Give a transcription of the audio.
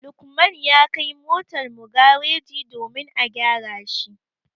Lukman ya kai motar mu gareji domin a gyara shi.